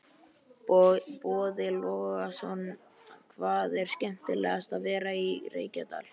Boði Logason: Hvað er skemmtilegast við að vera í Reykjadal?